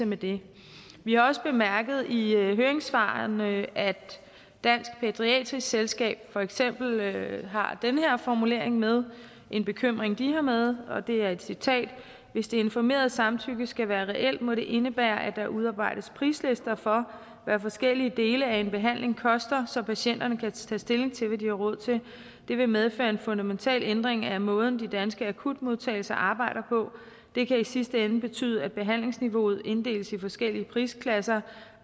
med det vi har også bemærket i høringssvarene at dansk pædiatrisk selskab for eksempel har den her formulering med en bekymring de har med og det er et citat hvis det informerede samtykke skal være reelt må det indebære at der udarbejdes prislister for hvad forskellige dele af en behandling koster så patienterne kan tage stilling til hvad de har råd til vil medføre en fundamental ændring af måden de danske akutmodtagelser arbejder på det kan i sidste ende betyde at behandlingsniveauet inddeles i forskellige prisklasser